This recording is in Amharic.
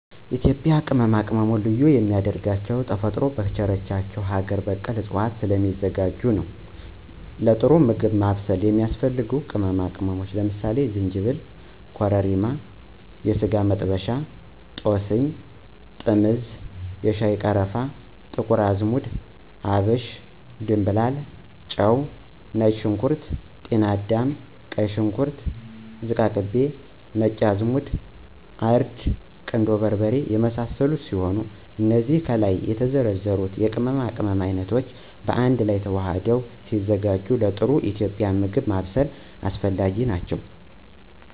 የኢትዩጱያ ቅመማቅመም ልዩ የሚያደርገው ተፈጥሮ ከቸረቻቸው አገር በቀል እፅዋቶች ስለሚዘጋጅ ነው ለጥሩ ምግብ ማብሰል የሚያስፈልጉ ቅመሞች ለምሳሌ፦ ዝንጂብል፣ ኮረሪማ፣ የስጋመጥበሻ፣ ጦስኝ፣ ጥምዝ፣ የሻይቀረፋ፣ ጥቁርአዝሙድ፣ አብሽ፣ ድምብላል፣ ጨው፣ ነጭሽንኩርት፣ ጢናዳም፣ ቀይሽንኩርት፣ ዝቃቅቤ፣ ነጭአዝሙድ፣ እርድ፣ ቁንዶበርበሬ የመሳሰሉት ሲሆኑ እነዚ ከላይ የተዘረዘሩት የቅመማቅመም አይነቶች ባአንድላይ ተዋህደው ሲዘጋጁ ለጥሩ ኢትዩጵያዊ ምግብ ማብሰል አስፈላጊ ናቸው።